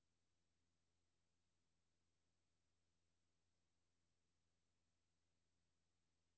Det kendte værk blev tilføjet nye farver og pikante pointer, som understregede musikkens forførende raffinement.